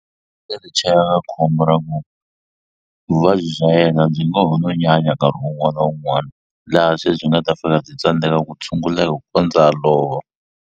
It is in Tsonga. chela ka khombo ra ku vuvabyi bya yena byi ngo ho no nyanya nkarhi wun'wana na wun'wana laha se byi nga ta fika byi tsandzeka ku tshunguleka ku kondza a lova.